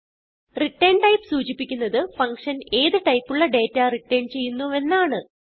ret type സൂചിപ്പിക്കുന്നത് function ഏത് ടൈപ്പുള്ള ഡേറ്റ റിട്ടർൻ ചെയ്യുന്നുവെന്നാണ്